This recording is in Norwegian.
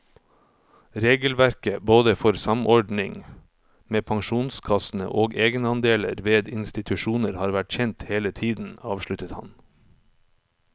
Regelverket både for samordning med pensjonskassene og egenandeler ved institusjoner har vært kjent hele tiden, avsluttet han.